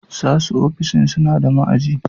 sasu ofishin sunada ma'aji